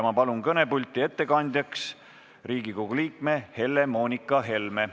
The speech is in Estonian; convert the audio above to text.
Ma palun kõnepulti ettekandjaks Riigikogu liikme Helle-Moonika Helme.